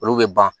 Olu bɛ ban